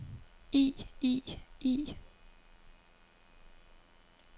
i i i